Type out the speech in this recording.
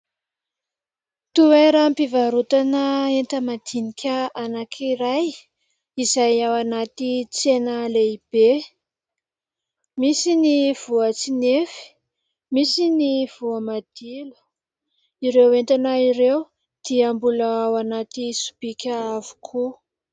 Toeram-pivarotana enta-madinika anankiray izay ao anaty tsena lehibe, misy ny voatsinefy, misy ny voamadilo. Ireo entana ireo dia mbola ao anaty sobika avokoa.